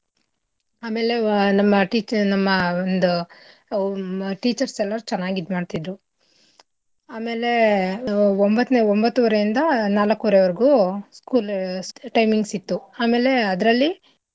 ಆಮೇಲೆ ನಮ್ teacher ನಮ್ಮ ಒಂದು teachers ಎಲ್ಲಾರು ಚೆನ್ನಾಗಿ ಇದ್ಮಾಡ್ತಿದ್ರು ಆಮೇಲೆ ಒಂಬತ್ತನೇ ಒಂಬತ್ತು ವರೆಯಿಂದ ನಲಕ್ಕುವರೆವರ್ಗೂ school ಉ timings ಇತ್ತು ಆಮೇಲೆ ಅದ್ರಲ್ಲಿ.